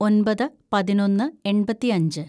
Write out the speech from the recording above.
ഒന്‍പത് പതിനൊന്ന് എണ്‍പത്തിയഞ്ച്‌